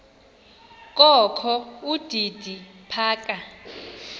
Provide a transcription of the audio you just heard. kokho udidi phaka